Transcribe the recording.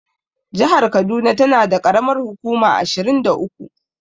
Jahar kaduna tana da ƙaramar hukuma ashirin da uku.